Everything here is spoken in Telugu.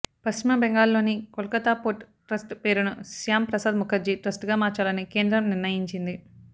పశ్చిమ బెంగాల్లోని కోల్కతా పోర్ట్ ట్రస్ట్ పేరును శ్యామ్ ప్రసాద్ ముఖర్జీ ట్రస్టుగా మార్చాలని కేంద్రం నిర్ణయించింది